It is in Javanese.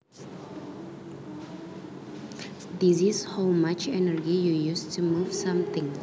This is how much energy you used to move something